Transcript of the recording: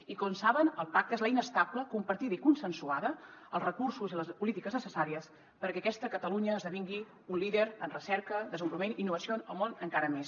i com saben el pacte és l’eina estable compartida i consensuada els recursos i les polítiques necessàries perquè aquesta catalunya esdevingui un líder en recerca desenvolupament i innovació en el món encara més